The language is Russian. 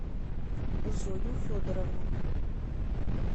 зою федоровну